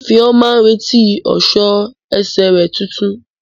Ifeoma ń retí ọ̀ṣọ́ ẹsẹ̀ rẹ̀ tuntun.